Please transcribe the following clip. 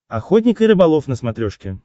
охотник и рыболов на смотрешке